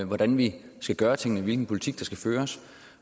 hvordan vi skal gøre tingene og hvilken politik der skal føres